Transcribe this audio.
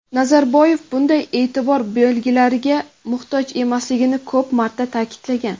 Nazarboyev bunday e’tibor belgilariga muhtoj emasligini ko‘p marta ta’kidlagan.